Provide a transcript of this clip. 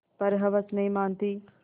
पर हवस नहीं मानती